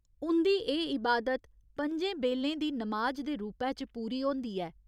उं'दी एह् इबादत पं'जें बेल्लें दी 'नमाज' दे रूपै च पूरी होंदी ऐ।